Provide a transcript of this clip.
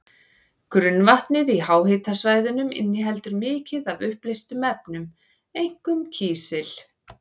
Grunnvatnið í háhitasvæðunum inniheldur mikið af uppleystum efnum, einkum kísil.